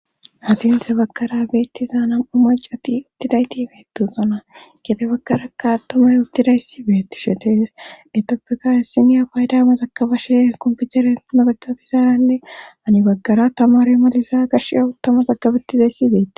asinte bagkara beettiza nam7u macati uttidayti ibeetu sona gite bagkarakka tomay uttidayssibeetti she de etappeka issiniya paydama zakabashe komputere mazaggabizaaranne ani baggara tamare maliza gash awu tama zakabettizayssibeei